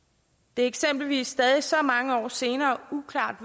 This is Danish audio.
det er eksempelvis stadig så mange år senere uklart